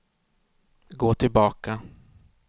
gå tillbaka